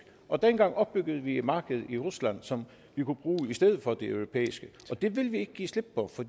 og dengang opbyggede vi markedet i rusland som vi kunne bruge i stedet for det europæiske og det vil vi ikke give slip på for